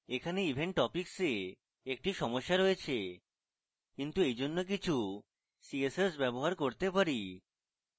এখানে event topics we একটি সমস্যা রয়েছে কিন্তু এইজন্য কিছু css ব্যবহার করতে there